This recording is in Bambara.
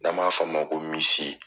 N'an b'a fɔ a ma ko misi.